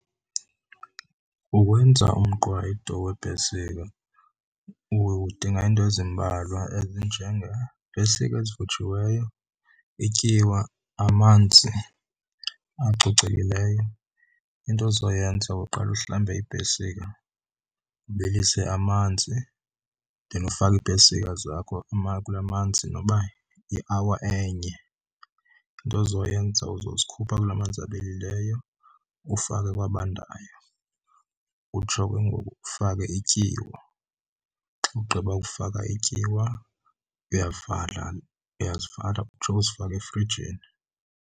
Ukwenza umqwayito weepesika udinga into ezimbalwa ezinjengeepesika ezivuthiweyo, ityiwa, amanzi acocekileyo. Into ozoyenza uqale uhlambe iipesika, ubilise amanzi then ufake iipesika zakho kula manzi noba yi-hour enye. Into ozoyenza uzozikhupha kula manzi abilileyo, ufake kwabandayo utsho ke ngoku ufake ityiwa. Xa ugqiba ukufaka ityiwa uyavala, uyazivala utsho, uzifake efrijini.